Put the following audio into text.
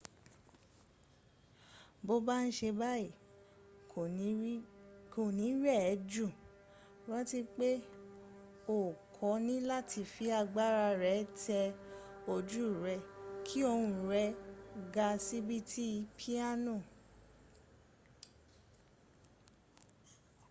bó ba n ṣe báyí kò ní rẹ̀ ẹ́ jù rántí pé o kò níláti fi agbára tẹ ojú rẹ̀ kí ohun rẹ̀ ga síi bí ti piano